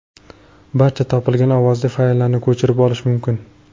Barcha topilgan ovozli fayllarni ko‘chirib olish mumkin.